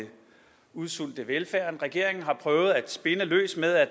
udsulte velfærden regeringen har prøvet at spinne løs med at